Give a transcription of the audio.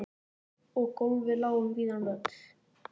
Og gólfið lá um víðan völl.